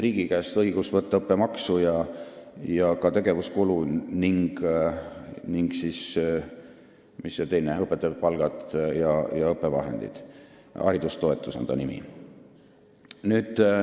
Riigi käest on õigus võtta õppemaksu ja tegevuskulu ning raha õpetajate palga ja õppevahendite jaoks – haridustoetus on selle nimi.